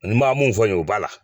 N b'a mun fɔ yen u b'a la